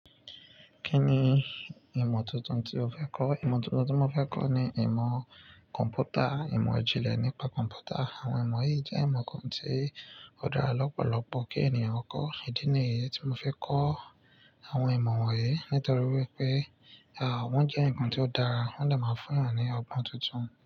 Kí ni ìmọ̀ tuntun tí o fẹ́ kọ́? Ìmọ̀ tuntun tí mo fẹ́ kọ́ ni ìmọ̀ kọ̀m̀pútà, ìmọ̀ ijínlẹ̀ nípa kọ̀m̀pútà. Àwọn ìmọ̀ yìí jẹ́ ìmọ̀ kan tí ó dára lọ́pọ̀lọ́pọ̀ kí ènìyàn kọ́. Ìdí nìyí tí mo fẹ́ kọ́ àwọn ìmọ̀ wọ̀nyí nítorí wípé àwọn jẹ́ ǹkan tí ó dára, wọ́n dà máa ń fún wa ní ọgbọ́n tuntun.